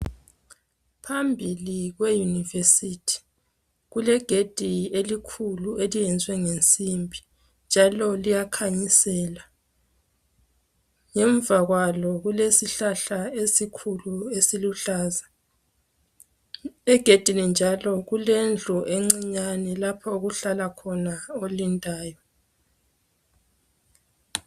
Phambili kweyunivesithi, kulegedi elikhulu eliyenziwe ngensimbi, njalo liyakhanyisela. Ngemva kwalo kulesihlahla esikhulu esiluhlaza egedini njalo kulendlu encinyane lapho okuhlala khona olindayo.